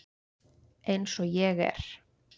Eins og ég er.